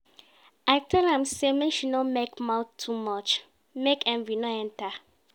I tell am sey make she no make mouth too much, make envy no enter.